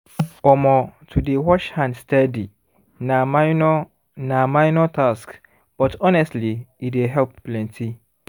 omor to dey wash hand steady na minor na minor task but honestly e dey help plenty